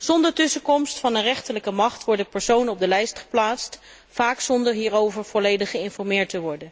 Zonder tussenkomst van een rechterlijke macht worden personen op de lijst geplaatst, vaak zonder hierover volledig te worden geïnformeerd.